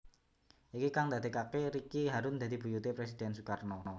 Iki kang ndadekaké Ricky harun dadi buyuté Presiden Sukarno